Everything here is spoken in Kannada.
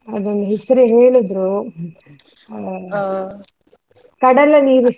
ಅದೊಂದ್ ಹೆಸ್ರು ಹೇಳಿದ್ರು ಕಡಲ ನೀರು.